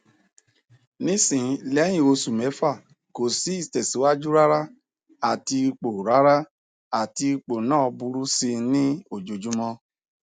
nisin lehin osu mefa ko si itesiwaju rara ati ipo rara ati ipo na buru si ni ojojumo